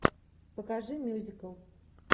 покажи мюзикл